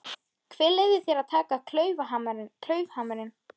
Hver leyfði þér að taka klaufhamarinn?